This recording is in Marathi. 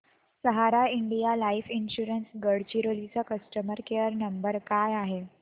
सहारा इंडिया लाइफ इन्शुरंस गडचिरोली चा कस्टमर केअर नंबर काय आहे